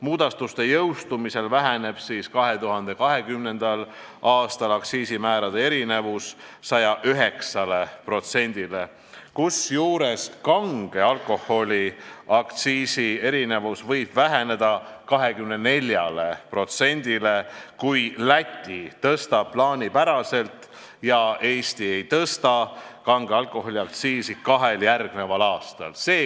Muudatuste jõustumisel väheneb 2020. aastal aktsiisimäärade erinevus 109%-le, kusjuures kange alkoholi aktsiisierinevus võib väheneda 24%-le, kui Läti tõstab aktsiisi plaanipäraselt ja Eesti kahel järgmisel aastal kange alkoholi aktsiisi ei tõsta.